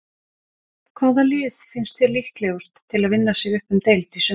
Hvaða lið finnst þér líklegust til að vinna sig upp um deild í sumar?